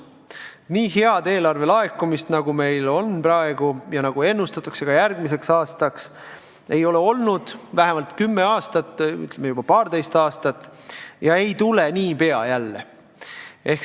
Nii head eelarvesummade laekumist, nagu meil on praegu ja nagu ennustatakse ka järgmiseks aastaks, ei ole olnud vähemalt kümme või paarteist aastat ja ei tule niipea jälle.